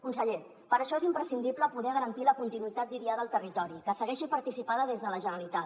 conseller per això és imprescindible poder garantir la continuïtat d’idiada al territori que segueixi participada des de la generalitat